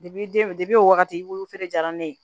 den o wagati olu fɛnɛ jara ne ye